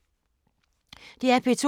DR P2